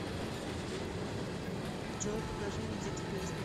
джой покажи мне текст песни